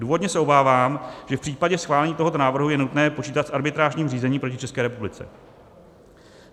Důvodně se obávám, že v případě schválení tohoto návrhu je nutné počítat s arbitrážním řízením proti České republice.